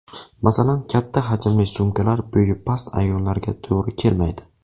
Masalan, katta hajmli sumkalar bo‘yi past ayollarga to‘g‘ri kelmaydi.